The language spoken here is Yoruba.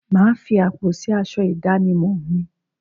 Máa fi àpò sì aṣọ ìdánimọ̀ mi